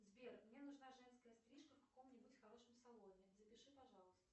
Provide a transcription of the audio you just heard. сбер мне нужна женская стрижка в каком нибудь хорошем салоне запиши пожалуйста